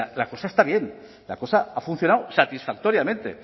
la cosa está bien la cosa ha funcionado satisfactoriamente